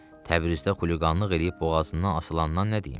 Təbrizdə xuliqanlıq eləyib boğazından asılandan nə deyim?